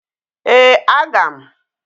Ee, aga m.